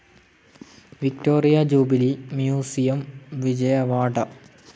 Victoria Jubilee Museum, Vijayawada